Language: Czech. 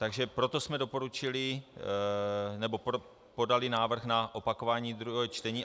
Takže proto jsme doporučili nebo podali návrh na opakování druhého čtení.